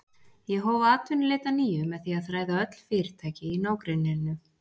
Ég hóf atvinnuleit að nýju með því að þræða öll fyrirtæki í nágrenninu.